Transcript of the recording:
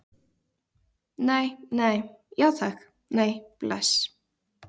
Nei, nei, já takk, nei, bless.